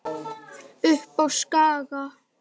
Upp á Skaga?